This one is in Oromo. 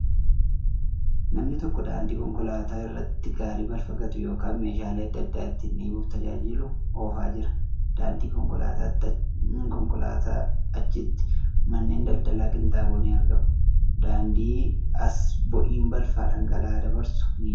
Namni tokko daandii konkolaataa irratti gaarii balfa gatu yookan meeshaalee adda addaa ittiin dhiibuuf tajaajilu oofaa jira. Daandii konkolaatatii achitti manneen daldala qinxaaboo ni argamu. Daandii as boo'iin balfa dhangala'aa dabarsu ni jira.